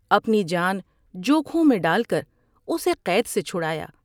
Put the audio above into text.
اپنی جان جوکھوں میں ڈال کر اسے قید سے چھڑایا ۔